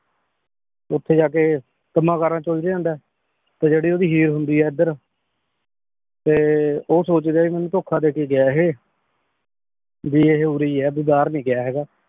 ਓਥੇ ਜਾ ਕੇ ਕਮਾਨ ਕਰਨ ਚ ਉਲਝ ਜਾਂਦਾ ਆਯ ਤੇ ਜੇਰੀ ਓੜੀ ਹੀਰ ਹੁੰਦੀ ਆ ਏਡ੍ਰ ਤੇ ਊ ਸੋਚਦੀ ਆ ਭੀ ਮੇਨੂ ਧੋਕਾ ਦੇ ਕੇ ਗਯਾ ਏਹੀ ਭੀ ਏਹੀ ਉਰੀ ਈ ਆ ਭੀ ਬਹਿਰ ਨਾਈ ਗਯਾ ਹੇਗਾ